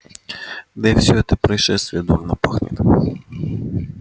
да и всё это происшествие дурно пахнет